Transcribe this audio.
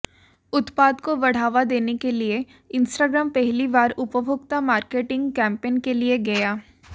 उत्पाद को बढ़ावा देने के लिए इंस्टाग्राम पहली बार उपभोक्ता मार्केटिंग कैंपेन के लिए गया